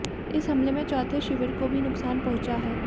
इस हमले में चौथे शिविर को भी नुकसान पहुंचा है